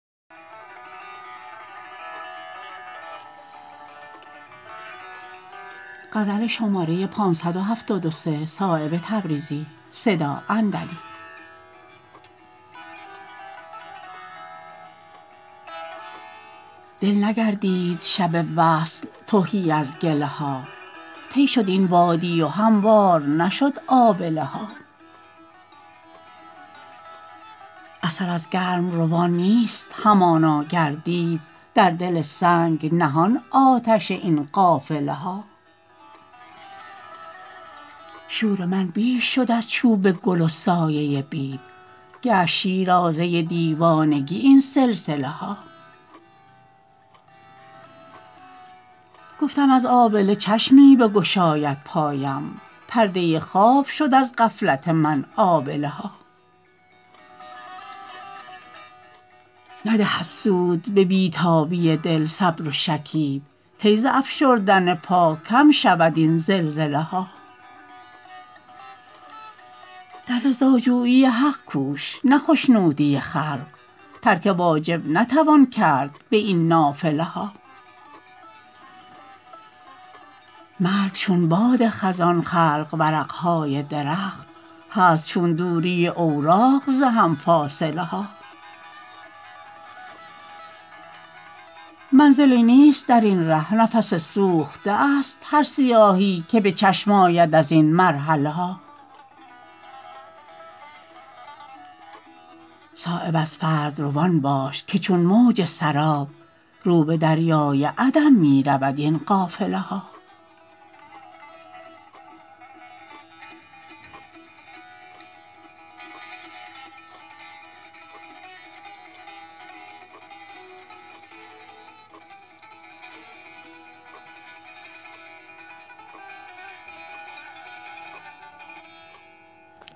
دل نگردید شب وصل تهی از گله ها طی شد این وادی و هموار نشد آبله ها اثر از گرمروان نیست همانا گردید در دل سنگ نهان آتش این قافله ها شور من بیش شد از چوب گل و سایه بید گشت شیرازه دیوانگی این سلسله ها گفتم از آبله چشمی بگشاید پایم پرده خواب شد از غفلت من آبله ها ندهد سود به بی تابی دل صبر و شکیب کی ز افشردن پا کم شود این زلزله ها در رضاجویی حق کوش نه خشنودی خلق ترک واجب نتوان کرد به این نافله ها مرگ چون باد خزان خلق ورق های درخت هست چون دوری اوراق ز هم فاصله ها منزلی نیست درین ره نفس سوخته است هر سیاهی که به چشم آید ازین مرحله ها صایب از فرد روان باش که چون موج سراب رو به دریای عدم می رود این قافله ها